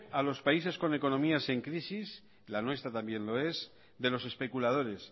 a los países con economías en crisis la nuestra también lo es de los especuladores